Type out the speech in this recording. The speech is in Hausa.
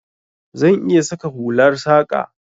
Zan iya saka hular saƙa.